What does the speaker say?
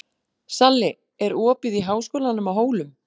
Salli, er opið í Háskólanum á Hólum?